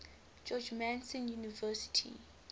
george mason university